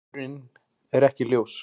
Uppruninn er ekki ljós.